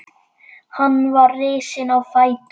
Hún virtist ein heima.